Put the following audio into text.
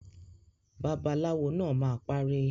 Babaláwo naa ma pari.